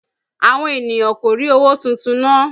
Àwọn ènìyàn kò rí owó tuntun ná